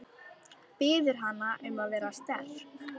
Biður hana um að vera sterk.